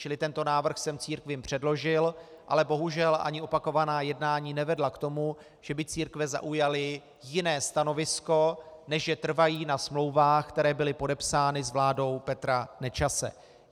Čili tento návrh jsem církvím předložil, ale bohužel ani opakovaná jednání nevedla k tomu, že by církve zaujaly jiné stanovisko, než že trvají na smlouvách, které byly podepsány s vládou Petra Nečase.